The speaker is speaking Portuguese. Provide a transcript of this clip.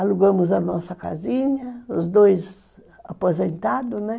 Alugamos a nossa casinha, os dois aposentados, né?